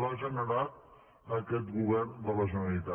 l’ha generat aquest govern de la generalitat